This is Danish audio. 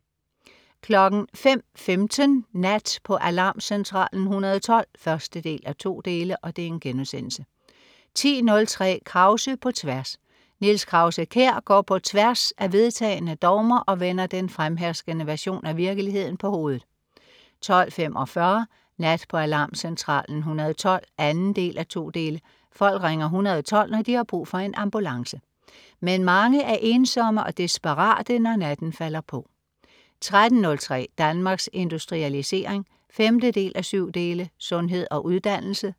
05.15 Nat på Alarmcentralen 112 1:2* 10.03 Krause på tværs. Niels Krause-Kjær går på tværs af vedtagne dogmer og vender den fremherskende version af virkeligheden på hovedet 12.45 Nat på Alarmcentralen 112 2:2. Folk ringer 112, når de har brug for en ambulance. Men mange er ensomme og desperate, når natten falder på 13.03 Danmarks Industrialisering 5:7. Sundhed og uddannelse